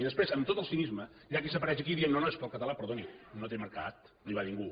i després amb tot el cinisme hi ha qui apareix aquí dient no no és que el català perdoni no té mercat no hi va ningú